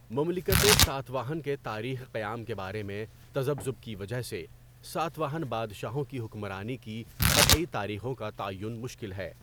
مملکتِ ساتواہن کے تاریخ قیام کے بارے میں تذبذب کی وجہ سے، ساتواہن بادشاہوں کی حکمرانی کی قطعی تاریخوں کا تعین مشکل ہے۔